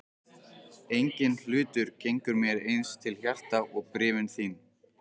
Enginn hlutur gengur mér eins til hjarta og bréfin þín.